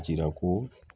Jira ko